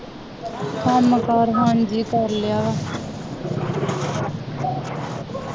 ਕੰਮ ਕਾਰ ਹਾਂਜੀ ਕਰ ਲਿਆ,